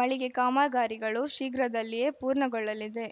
ಮಳಿಗೆ ಕಾಮಗಾರಿಗಳು ಶೀಘ್ರದಲ್ಲಿಯೇ ಪೂರ್ಣಗೊಳ್ಳಲಿದೆ